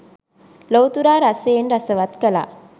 ලොව්තුරා රසයෙන් රසවක් කළා.